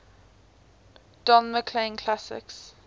don mclean classics